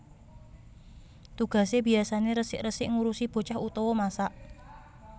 Tugasé biyasané resik resik ngurusi bocah utawa masak